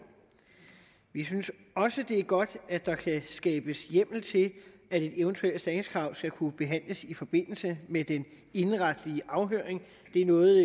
vi synes også det er godt at der kan skabes hjemmel til at et eventuelt erstatningskrav skal kunne behandles i forbindelse med den indenretlige afhøring det er noget